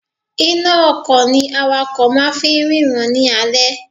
Iná a ọkò ni awakò máa fi ń rína ní alé